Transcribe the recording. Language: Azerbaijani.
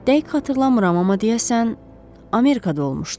Dəqiq xatırlamıram, amma deyəsən Amerikada olmuşdu.